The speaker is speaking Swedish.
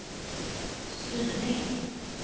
styrning